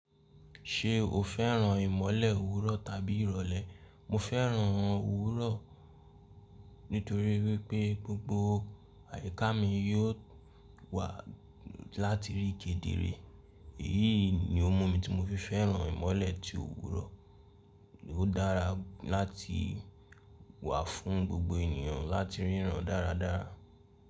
Ṣé o fẹ́ràn ìmọ́lẹ̀ òwúrọ̀ tàbí ìrọ̀lẹ́? Mo fẹ́ràn òwúrọ̀ nítorí wípé gbogbo àyíká mi yóò wà láti rí kedere. Èyí ni ohun mi tí mo fi fẹ́ràn ìmọ́lẹ̀ ti òwúrọ̀. Ó dára láti wà fún gbogbo ènìyàn láti ríran dáradára.